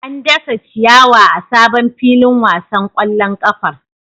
An dasa ciyawa a sabon filin wasan kwallon kafar.